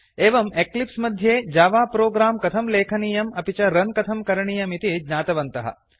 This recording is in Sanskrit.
एवं एक्लिप्स् मध्ये जावा प्रोग्राम् कथं लेखनीयम् अपि च रन् कथं करणीयमिति ज्ञातवन्तः